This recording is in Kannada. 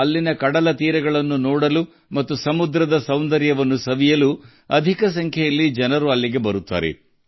ಅಲ್ಲಿನ ಕಡಲ ತೀರಗಳು ಮತ್ತು ಸಮುದ್ರ ಸೌಂದರ್ಯವನ್ನು ನೋಡಲು ಹೆಚ್ಚಿನ ಸಂಖ್ಯೆಯಲ್ಲಿ ಜನರು ಬರುತ್ತಾರೆ